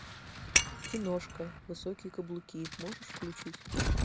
киношка высокие каблуки можешь включить